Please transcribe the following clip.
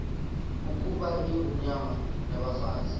ukuba ingonyama nabafazi